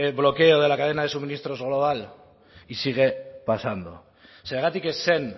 bloqueo de la cadena de suministros global y sigue pasando zergatik ez zen